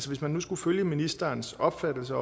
hvis man nu skulle følge ministerens opfattelse